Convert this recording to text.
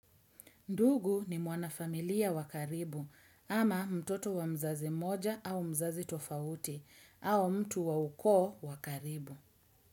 Ndugu ni mwanafamilia wa karibu ama mtoto wa mzazi moja au mzazi tofauti au mtu wa ukoo wa karibu.